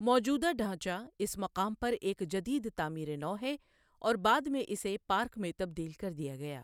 موجودہ ڈھانچہ اس مقام پر ایک جدید تعمیر نو ہے اور بعد میں اسے پارک میں تبدیل کر دیا گیا۔